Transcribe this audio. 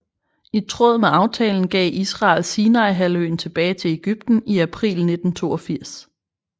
I tråd med aftalen gav Israel Sinaihalvøen tilbage til Egypten i april 1982